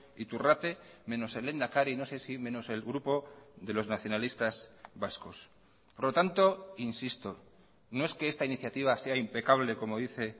iturrate menos el lehendakari no sé si menos el grupo de los nacionalistas vascos por lo tanto insisto no es que esta iniciativa sea impecable como dice